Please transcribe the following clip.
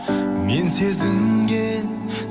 мен сезінген